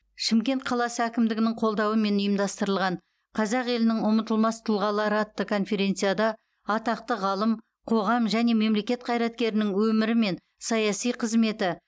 шымкент қаласы әкімдігінің қолдауымен ұйымдастырылған қазақ елінің ұмытылмас тұлғалары атты конференцияда атақты ғалым қоғам және мемлекет қайраткерінің өмірі мен саяси қызметі